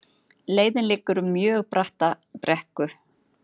Leiðin liggur um mjög bratta brekku